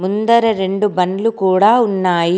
ముందర రెండు బండ్లు కూడా ఉన్నాయి.